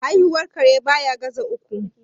Haihuwar kare baya ga za uku.